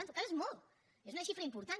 ah en tot cas és molt és una xifra important